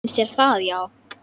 Finnst þér það já.